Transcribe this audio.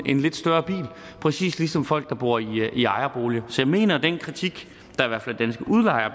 en lidt større bil præcis ligesom folk der bor i ejerboliger så jeg mener at den kritik